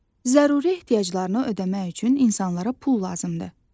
Zəruri ehtiyaclarını ödəmək üçün insanlara pul lazımdır.